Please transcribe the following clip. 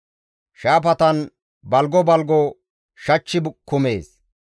Shaafatan balgo balgo shachchi kumees.